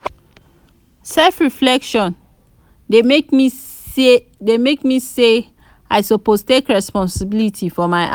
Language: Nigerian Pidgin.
self-reflection dey make me see sey i suppose take responsibility for my actions.